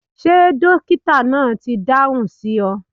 Ṣe dokita naa ni idahun si ọ?